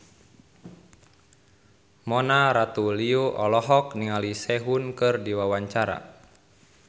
Mona Ratuliu olohok ningali Sehun keur diwawancara